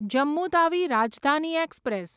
Jammu Tawi Rajdhani express